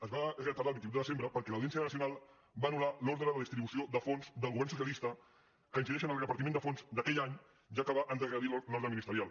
es va retardar al vint vuit de desembre perquè l’audiència nacional va anullar l’ordre de distribució de fons del govern socialista que incideix en el repartiment de fons d’aquell any ja que va endarrerir l’ordre ministerial